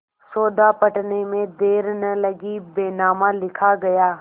सौदा पटने में देर न लगी बैनामा लिखा गया